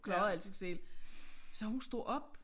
Klarede alting selv så hun stod op